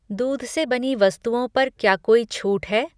दूध से बनी वस्तुओं पर क्या कोई छूट है?